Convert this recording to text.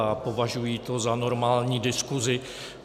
A považuji to za normální diskuzi.